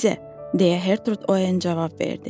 deyə Gertrude Oen cavab verdi.